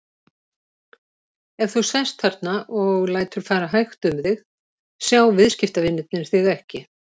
Ef þú sest þarna og lætur fara hægt um þig, sjá viðskiptavinirnir þig ekki.